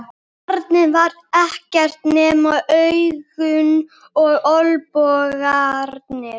Barnið var ekkert nema augun og olnbogarnir.